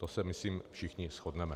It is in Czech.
To se myslím všichni shodneme.